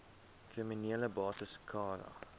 kriminele bates cara